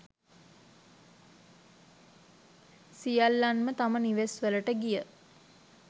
සියල්ලන්ම තම නිවෙස් වලට ගිය